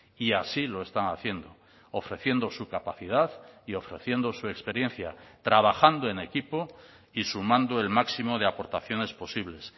y así lo están haciendo ofreciendo su capacidad y ofreciendo su experiencia trabajando en equipo y sumando el máximo de aportaciones posibles